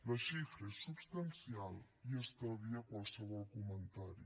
la xifra és substancial i estalvia qualsevol comentari